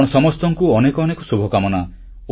ଆପଣ ସମସ୍ତଙ୍କୁ ଅନେକ ଅନେକ ଶୁଭକାମନା